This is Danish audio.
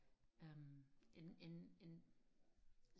øhm en en en